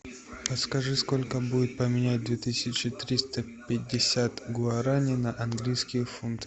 подскажи сколько будет поменять две тысячи триста пятьдесят гуараней на английские фунты